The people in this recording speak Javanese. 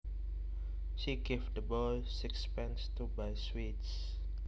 She gave the boy sixpence to buy sweets